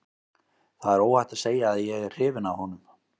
Það er óhætt að segja að ég er hrifinn af honum.